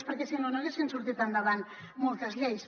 perquè si no no haguessin sortit endavant moltes lleis